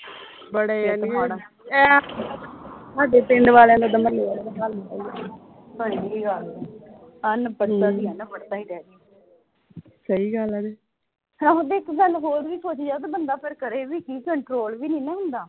ਆਹੋ ਤੇ ਇਕ ਗੱਲ ਹੋਰ ਵੀ ਸੋਚੀਏ ਤੇ ਬੰਦਾ ਫਿਰ ਕਰੇ ਵੀ ਕੀ control ਵੀ ਨਹੀਂ ਨਾ ਹੁੰਦਾ